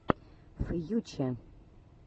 фьюче